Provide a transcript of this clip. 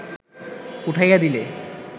উঠাইয়া দিলে